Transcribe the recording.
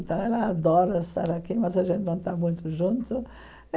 Ela adora estar aqui, mas a gente não está muito junto.